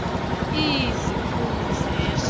iii ziphumo zeso